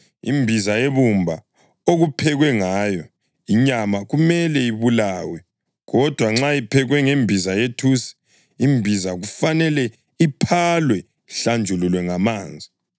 Imbiza yebumba okuphekwe ngayo inyama kumele ibulawe; kodwa nxa iphekwe ngembiza yethusi, imbiza kufanele iphalwe ihlanjululwe ngamanzi.